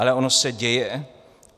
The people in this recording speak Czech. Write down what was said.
Ale ono se děje.